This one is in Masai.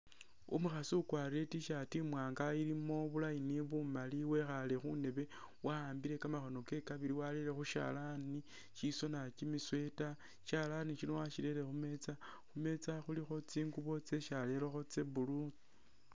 Umukhaasi ukwarile I't-shirt imwanga ilimo bu'line bumaali wekhaale khundeebe, wa'ambile kamakhono kewe kabili warere khushalani shisoona kimisweta, sishalani sino wasirere khumeeza, khumeeza khulikho tsingubo tsesi arerekho tsa'blue